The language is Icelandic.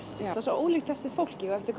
það er svo ólíkt eftir fólki eftir